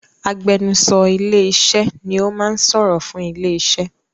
Agbẹnusọ ilé iṣẹ́ ni o máa sọ̀rọ̀ fún ilé iṣẹ́.